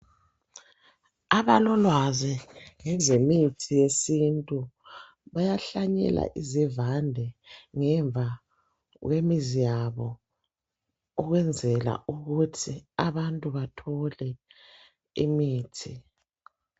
Abalolwazi ngezemithi yesintu bayahlanyela izivande ngemva kwemizi yabo ukwenzela ukuthi abantu bathole imithi.